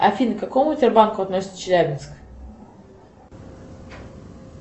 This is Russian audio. афина к какому сбербанку относится челябинск